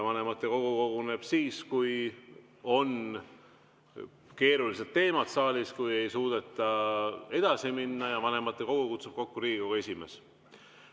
Vanematekogu koguneb siis, kui on keerulised teemad saalis, kui ei suudeta edasi minna, ja vanematekogu kutsub kokku Riigikogu esimees.